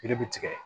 Yiri bɛ tigɛ